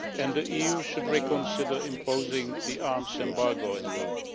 The EU should reconsider imposing the arms embargo as well.